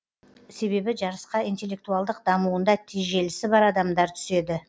себебі жарысқа интеллектуалдық дамуында тежелісі бар адамдар түседі